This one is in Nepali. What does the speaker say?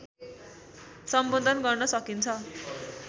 सम्बोधन गर्न सकिन्छ